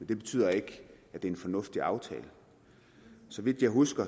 det betyder ikke at det er en fornuftig aftale så vidt jeg husker